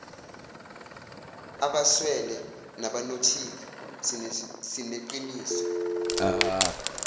abeswele nabanothile sineqiniso